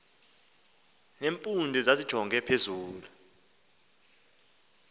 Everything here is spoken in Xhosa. nempundu zazijonge phezulu